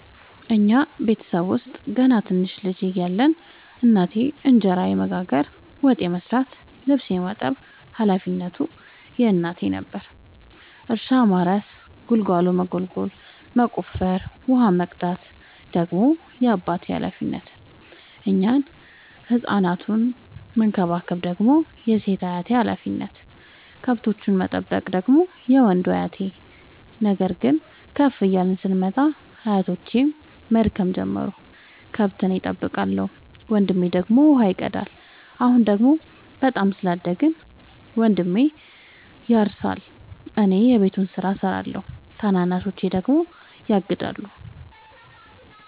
እኛ ቤተሰብ ውስጥ ገና ትንንሽ ልጅ እያለን እናቴ እንጀራ የመጋገር፤ ወጥ የመስራት ልብስ የማጠብ ሀላፊነቱ የእናቴ ነበረ። እርሻ ማረስ ጉልጎሎ መጎልጎል መቆፈር፣ ውሃ መቅዳት ደግሞ የአባቴ ሀላፊነት፤ እኛን ህፃናቱን መከባከብ ደግሞ የሴት አያቴ ሀላፊነት፣ ከብቶቹን መጠበቅ ደግሞ የወንዱ አያቴ። ነገር ግን ከፍ እያልን ስንመጣ አያቶቼም መድከም ጀመሩ ከብት እኔ ጠብቃለሁ። ወንድሜ ደግሞ ውሃ ይቀዳል። አሁን ደግሞ በጣም ስላደግን መንድሜ ያርሳ እኔ የቤቱን ስራ እሰራለሁ ታናናሾቼ ደግሞ ያግዳሉ።